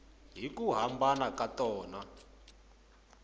hi ku hambana ka tona